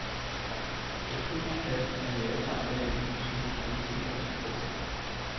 Hos hund og kat er mavetarmkanalen som hos mennesket ganske kort.